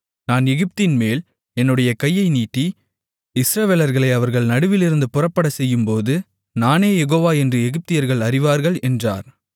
நான் எகிப்தின்மேல் என்னுடைய கையை நீட்டி இஸ்ரவேலர்களை அவர்கள் நடுவிலிருந்து புறப்படச்செய்யும்போது நானே யெகோவா என்று எகிப்தியர்கள் அறிவார்கள் என்றார்